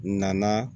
Nana